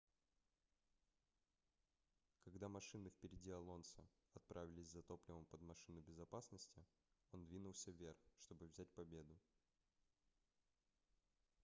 когда машины впереди алонсо отправились за топливом под машину безопасности он двинулся вверх чтобы взять победу